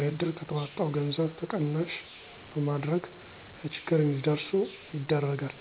ለዕድር ከተዋጣው ገዘብ ተቀናሽ በማድረግ ለችግር እዲደረሱ ይደረጋል።